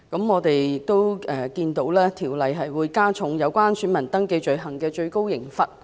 我們看到，《條例草案》加重了有關選民登記罪行的最高懲罰。